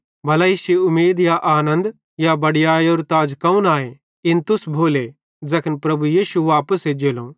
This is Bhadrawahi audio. भला इश्शी उमीद या आनन्द या बड़ीयैयरू ताज कौन आए इन तुस भोले ज़ैखन प्रभु यीशु वापस एज्जेलो